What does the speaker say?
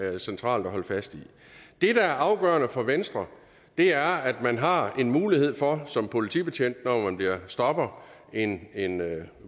er centralt at holde fast i det der er afgørende for venstre er at man har en mulighed for som politibetjent når man stopper en